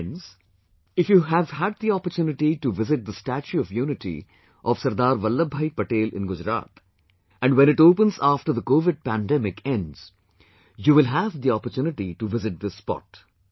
Friends, if you have had the opportunity to visit the Statue of Unity of Sardar Vallabhbhai Patel in Gujarat, and when it opens after Covid Pandemic ends, you will have the opportunity to visit this spot